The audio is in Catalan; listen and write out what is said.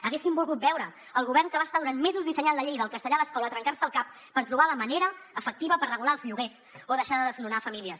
haguéssim volgut veure el govern que va estar durant mesos dissenyant la llei del castellà a l’escola a trencar se al cap per trobar la manera efectiva per regular els lloguers o deixar de desnonar famílies